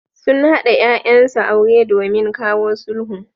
Sun haɗa ƴaƴansu aure domin kawo sulhu.